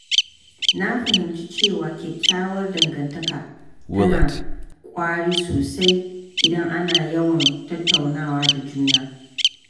Na fahimci cewa kyakkyawar dangantaka tana ƙwari sosai idan ana yawan tattaunawa da juna.